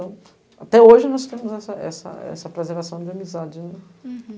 Então, até hoje nós temos essa essa essa preservação de amizade. Uhum